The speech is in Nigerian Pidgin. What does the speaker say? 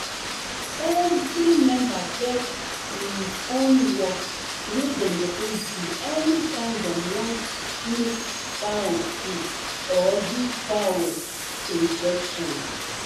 every member get im own work wey dem suppose do anytime dem want mix fowl food or give fowls injections